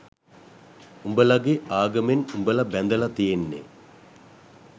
උඹලගෙ ආගමෙන් උඹල බැඳලා තියෙන්නෙ